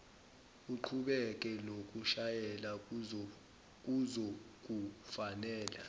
uqhubeke nokushayela kuzokufanela